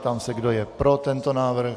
Ptám se, kdo je pro tento návrh.